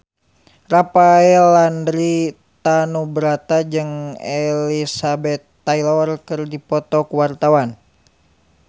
Rafael Landry Tanubrata jeung Elizabeth Taylor keur dipoto ku wartawan